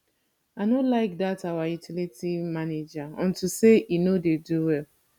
i no like dat our utility manager unto say he no dey do well